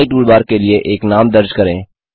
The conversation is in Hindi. नई टूलबार के लिए एक नाम दर्ज करें